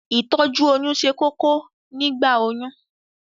Ìtọ́jú oyún ṣe kókó nígbà oyún